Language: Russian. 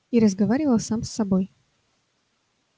и разговаривал сам с собой